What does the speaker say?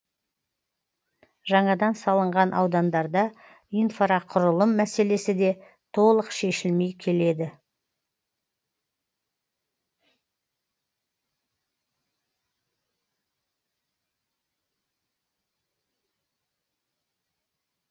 жаңадан салынған аудандарда инфрақұрылым мәселесі де толық шешілмей келеді